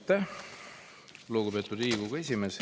Aitäh, lugupeetud Riigikogu esimees!